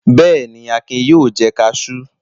Bẹ́ẹ̀ ni, Akin yóò jẹ kaṣú.